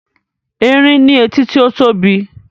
Erin ní etí tí ó tóbi